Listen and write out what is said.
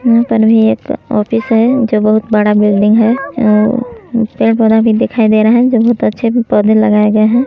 यहाँ तनवी एक ऑफिस है जो बहुत बड़ा बिल्डिंग है और पेड़-पौधा भी दिखाई दे रहा है जो बहुत अच्छे भी पौधे लगाए गए हैं।